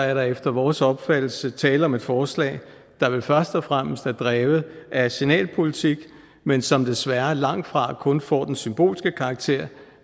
er der efter vores opfattelse tale om et forslag der vel først og fremmest er drevet af signalpolitik men som desværre langt fra kun får den symbolske karakter